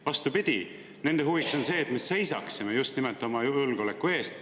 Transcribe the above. Vastupidi, nende huvides on see, et me just nimelt seisaksime oma julgeoleku eest.